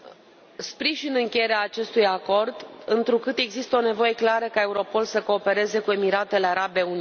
Sprijin încheierea acestui acord, întrucât există o nevoie clară ca Europol să coopereze cu Emiratele Arabe Unite.